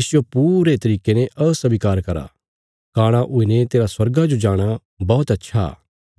इसजो पूरे तरिके ने अस्वीकार करा काणा हुईने तेरा स्वर्गा जो जाणा बौहत अच्छा